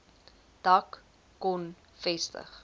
dak kon vestig